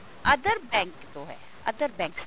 other bank ਤੋਂ ਹੈ other banks ਤੋਂ